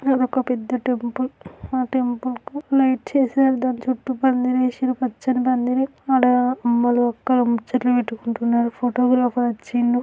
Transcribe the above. ఇది ఒక పెద్ద టెంపుల్ ఆ టెంపుల్ కు లైట్ చేశారు దాని చుట్టూ పందిరి వేసి పచ్చని పందిరి ఆడ అమ్మలు అక్కలు ముచ్చట్లు పెట్టుకుంటున్నారు ఫోటోగ్రాఫర్ వచ్చిండు.